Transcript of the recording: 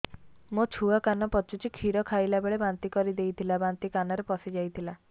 ମୋ ଛୁଆ କାନ ପଚୁଛି କ୍ଷୀର ଖାଇଲାବେଳେ ବାନ୍ତି କରି ଦେଇଥିଲା ବାନ୍ତି କାନରେ ପଶିଯାଇ ଥିଲା